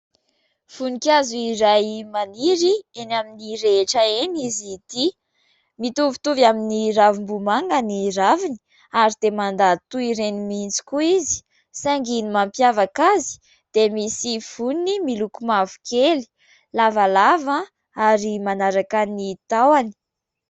Vonikazo iray maniry eny amin'ny rehetra eny izy ity. Mitovitovy amin'ny ravim-bomanga ny raviny ary dia mandady toy ireny mihitsy koa izy saingy ny mampiavaka azy dia misy voniny miloko mavokely lavalava ary manaraka ny tahony.